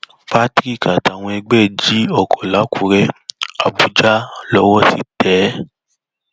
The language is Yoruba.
patrick àtàwọn ẹgbẹ ẹ jí ọkọ làkùrẹ àbújá lowó ti tẹ é